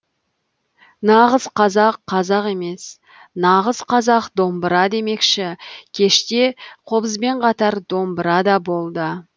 нағыз қазақ қазақ емес нағыз қазақ домбыра демекші кеште қобызбен қатар домбыра да болды